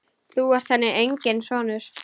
Þú ert henni enginn sonur.